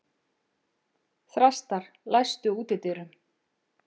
Þrastar, læstu útidyrunum.